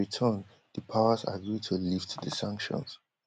in return di powers agree to lift di sanctions